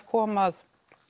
kom að